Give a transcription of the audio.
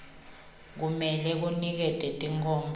kumele kunikete tinkhomba